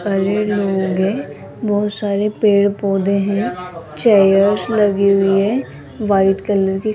लोग है बहोत सारे पेड़ पौधे है चेयर्स लगी हुई है व्हाइट कलर की --